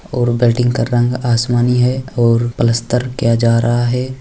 और बिल्डिंग का रंग आसमानी है और पलस्तर किया जा रहा है।